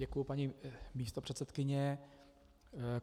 Děkuji, paní místopředsedkyně.